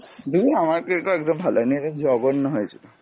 ধুর আমার cake ও একদম ভালো হয়নি, একদম জঘন্য হয়েছিল।